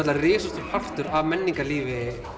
risastór partur af menningarlífi